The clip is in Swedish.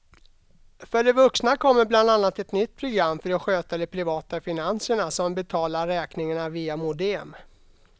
För de vuxna kommer bland annat ett nytt program för att sköta de privata finanserna, som betalar räkningarna via modem.